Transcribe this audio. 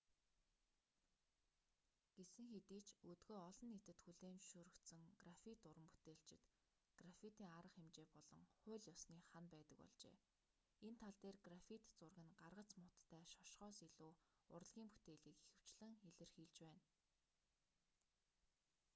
гэсэн хэдий ч өдгөө олон нийтэд хүлээн зөвшөөрөгдсөн граффит уран бүтээлчид граффитийн арга хэмжээ болон хууль ёсны хана байдаг болжээ энэ тал дээр граффит зураг нь гаргац муутай шошгоос илүү урлагийн бүтээлийг ихэвчлэн илэрхийлж байна